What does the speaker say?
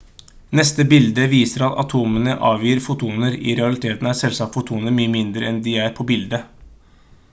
neste bilde viser at atomene avgir fotoner i realiteten er selvsagt fotoner mye mindre enn de er på bildet